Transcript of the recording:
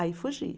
Aí fugi.